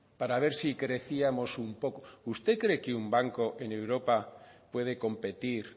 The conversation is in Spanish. para ver si crecíamos un poco usted cree que un banco en europa puede competir